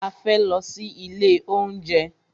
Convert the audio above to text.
A fẹ́ lọ sí ilé oúnjẹ.